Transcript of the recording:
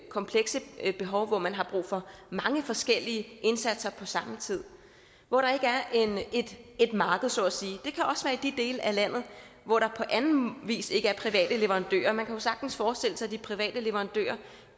komplekse behov hvor man har brug for mange forskellige indsatser på samme tid hvor der ikke er et marked så at sige i de dele af landet hvor der på anden vis ikke er private leverandører man kan jo sagtens forestille sig at de private leverandører